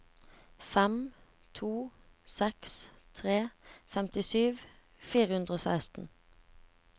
fem to seks tre femtisju fire hundre og seksten